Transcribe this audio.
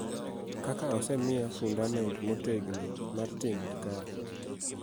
Kaka osemiya fundament motegno mar tim makare .